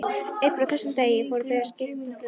Upp frá þessum degi fóru þau að skipuleggja flóttann.